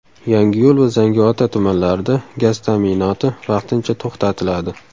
Yangiyo‘l va Zangiota tumanlarida gaz ta’minoti vaqtincha to‘xtatiladi.